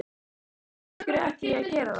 Nei alls ekki, af hverju ætti ég að gera það?